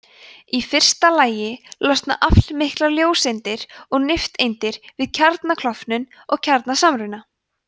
í fyrsta lagi losna aflmiklar ljóseindir og nifteindir við kjarnaklofnun eða kjarnasamruna